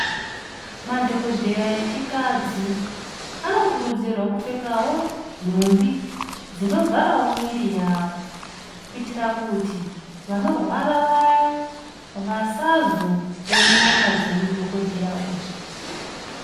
Madhokodheya echikadzi anokurudzirwa kupfeka wo nhumbi dzinovharawo miri yawo kuitire kuti vanorwara vaya vasazoone nyama dzemudhokemudhokodheya uyu.